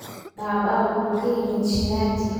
Baba wuxuu ka yimid Shirati